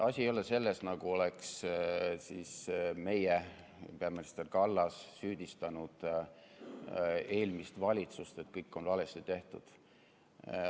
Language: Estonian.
Asi ei ole selles, nagu oleks meie peaminister Kallas süüdistanud eelmist valitsust, et kõik on valesti tehtud.